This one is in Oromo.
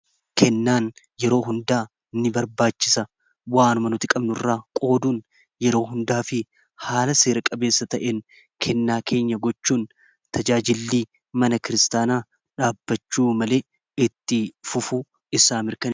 kennaan yeroo hundaa ni barbaachisa waanuma nuti qabnu irraa qooduun yeroo hundaa fi haala seera-qabeessa ta'en kennaa keenya gochuun tajaajillii mana kiristaanaa dhaabbachuu malee itti fufuu isaa mirkaneessuu